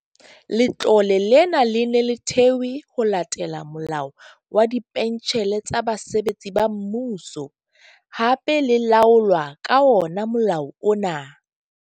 Letlole lena le ne le thewe ho latela Molao wa Dipentjhele tsa Basebetsi ba Mmuso, hape le laolwa ka ona molao ona.